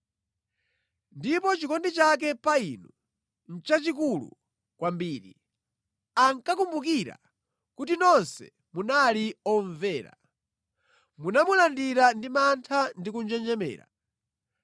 Ndipo chikondi chake pa inu nʼchachikulu kwambiri akakumbukira kuti nonse munali omvera, munamulandira ndi mantha ndi kunjenjemera.